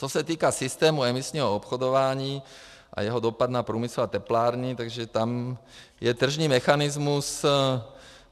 Co se týče systému emisního obchodování a jeho dopad na průmysl a teplárny, tak tam je tržní mechanismus.